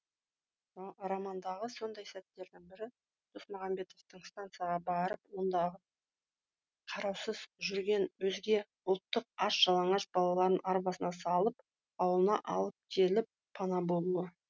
романдағы сондай сәттердің бірі досмағанбеттің стансаға барып ондағы қараусыз жүрген өзге ұлттың аш жалаңаш балаларын арбасына салып ауылына алып келіп пана болуы